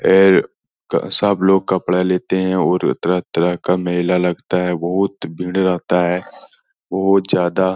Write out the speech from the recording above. सब लोग कपड़ा लेते हैं और तरह तरह का मेला लगता है बहुत भीड़ रहता है बहुत ज्यादा।